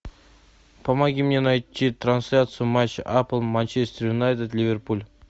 помоги мне найти трансляцию матча апл манчестер юнайтед ливерпуль